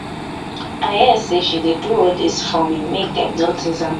i hear say she dey do all dis forming make dem notice am.